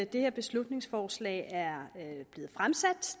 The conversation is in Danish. det her beslutningsforslag er blevet fremsat